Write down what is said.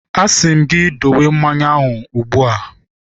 A sị m gị dowe mmanya ahụ ugbu a!